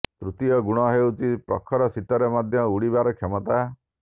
ତୃତୀୟ ଗୁଣ ହେଉଛି ପ୍ରଖର ଶୀତରେ ମଧ୍ୟ ଉଡିବାର କ୍ଷମତା